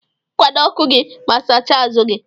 Kwado ọku gi ma sacha azu gi.